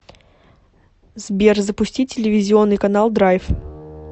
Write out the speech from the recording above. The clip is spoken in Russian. сбер запусти телевизионный канал драйв